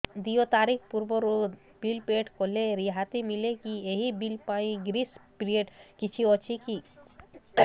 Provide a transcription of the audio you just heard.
ଦେୟ ତାରିଖ ପୂର୍ବରୁ ବିଲ୍ ପୈଠ କଲେ ରିହାତି ମିଲେକି ଏହି ବିଲ୍ ପାଇଁ ଗ୍ରେସ୍ ପିରିୟଡ଼ କିଛି ଅଛିକି